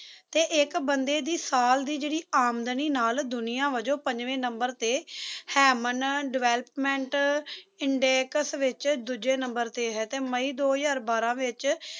ਤੇ ਇੱਕ ਬੰਦੇ ਦੀ ਸਾਲ ਦੀ ਜਿਹੜੀ ਆਮਦਨੀ ਨਾਲ ਦੁਨੀਆਂ ਵਜੋਂ ਪੰਜਵੇ ਨੰਬਰ ਤੇ ਹੈ ਮਨ development index ਵਿੱਚ ਦੂਜੇ ਨੰਬਰ ਤੇ ਹੈ ਤੇ ਮਈ ਦੋ ਹਜ਼ਾਰ ਬਾਰਾਂ ਵਿੱਚ